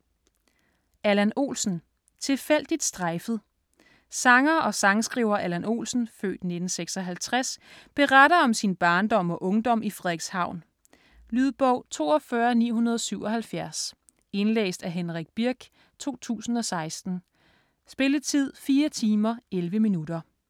Olsen, Allan: Tilfældigt strejfet Sanger og sangskriver Allan Olsen (f. 1956) beretter om sin barndom og ungdom i Frederikshavn. Lydbog 42977 Indlæst af Henrik Birch, 2016. Spilletid: 4 timer, 11 minutter.